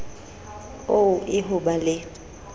oo e ho ba le